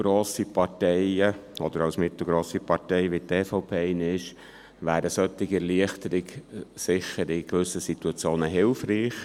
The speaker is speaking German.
Für eine mittelgrosse Partei, wie die EVP eine ist, wäre eine solche Erleichterung in gewissen Situationen hilfreich.